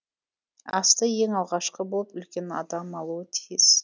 асты ең алғашқы болып үлкен адам алуы тиіс